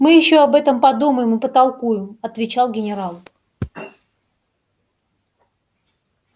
мы ещё об этом подумаем и потолкуем отвечал генерал